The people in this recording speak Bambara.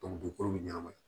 dugukolo bɛ ɲɛnama ye